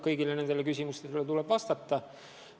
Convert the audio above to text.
Kõigile nendele küsimustele tuleb vastata.